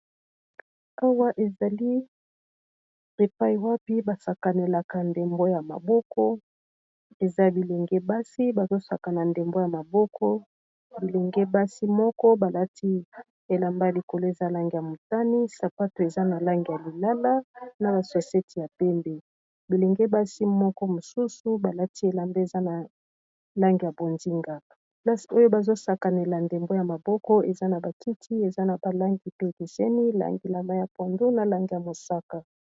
Awa ezali repai wapi basakanelaka ndembo ya maboko eza bilenge basi bazosakana ndembo ya maboko bilenge basi moko balati elamba likolo ezalange ya mutani, sapato eza na lange ya lilala, na basweseti ya pembe bilenge basi moko mosusu balati elamba eza na langi ya bonzinga las oyo bazosakanela ndembo ya maboko eza na batiti eza na balangi pe kiseni langi lama ya pondo na lange ya mosaka.